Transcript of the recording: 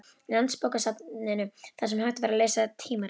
Landsbókasafninu, þar sem hægt var að lesa tímaritin.